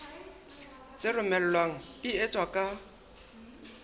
tse romellwang di etswa ka